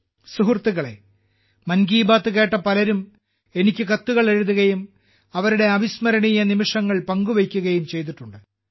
സുഹൃത്തുക്കളേ മൻ കി ബാത്ത് കേട്ട പലരും എനിക്ക് കത്തുകൾ എഴുതുകയും അവരുടെ അവിസ്മരണീയ നിമിഷങ്ങൾ പങ്കുവെക്കുകയും ചെയ്തിട്ടുണ്ട്